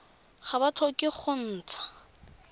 ga ba tlhoke go ntsha